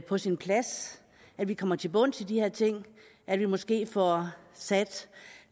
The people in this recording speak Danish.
på sin plads at vi kommer til bunds i de her ting at vi måske får sat